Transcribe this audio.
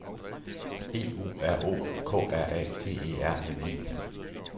E U R O K R A T E R N E